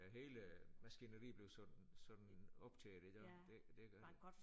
Ja hele maskineriet bliver sådan sådan optaget i dag det det gør det